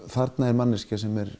þarna er manneskja sem er